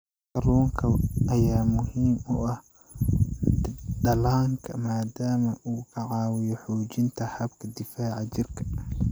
Kalluunka ayaa muhiim u ah dhallaanka maadaama uu ka caawiyo xoojinta habka difaaca jirka.